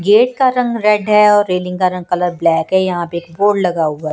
Gate का रंग red है और रेलिंग का रंग कलर ब्लैक है यहां पे एक बोर्ड लगा हुआ है।